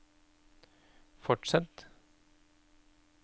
fortsett